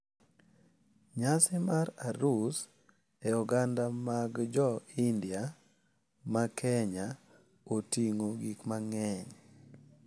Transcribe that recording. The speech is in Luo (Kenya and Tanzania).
Nyasi mar arus e oganda mag jo India ma Kenya oting`o gik mang`eny.